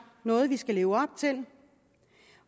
noget vi skal leve op til